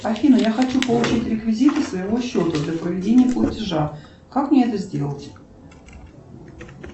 афина я хочу получить реквизиты своего счета для проведения платежа как мне это сделать